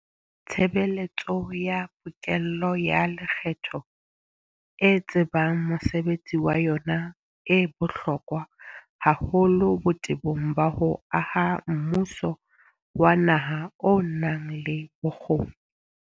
Tshebeletso ya pokello ya lekgetho e tsebang mosebetsi wa yona e bohlokwa haholo botebong ba ho aha mmuso wa naha o nang le bokgoni.